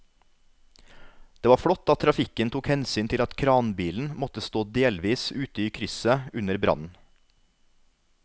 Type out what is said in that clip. Det var flott at trafikken tok hensyn til at kranbilen måtte stå delvis ute i krysset under brannen.